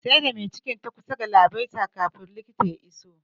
Sai da mai cikin ta kusan galabaita kafin likita ya iso